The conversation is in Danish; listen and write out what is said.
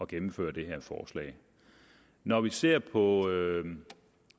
gennemføre det her forslag når vi ser på